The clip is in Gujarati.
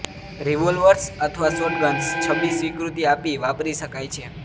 રિવોલ્વર્સ અથવા શોટગન્સ છબી સ્વીકૃતિ આપી વાપરી શકાય છે